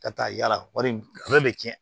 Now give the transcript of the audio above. Ka taa yala wari bɛ tiɲɛ